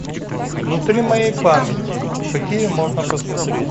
внутри моей памяти какие можно посмотреть